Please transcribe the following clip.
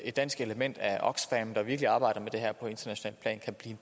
et dansk element af oxfam der virkelig arbejder med det her på internationalt plan kan blive